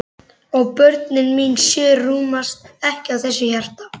Og börnin mín sjö rúmast ekki í þessu hjarta.